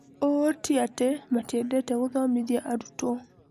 ũũ tiatĩ matiendete gũthomithia arutwo.